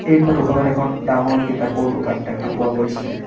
এই ফটো খনত এখন ডাঙৰ কিতাপৰ দোকান দেখা পোৱা গৈছে।